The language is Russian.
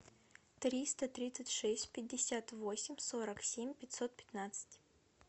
триста тридцать шесть пятьдесят восемь сорок семь пятьсот пятнадцать